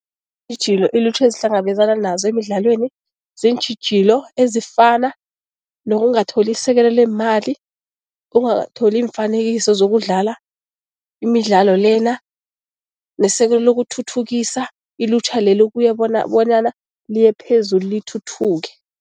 Iintjhijilo ilutjha ezihlangabezana nazo emidlalweni ziintjhijilo ezifana nokungatholi isekelo leemali, ukungatholi iimfanekiso zokudlala imidlalo lena nesekelo lokuthuthukisa ilutjha leli ukuya bonyana liye phezulu lithuthuke.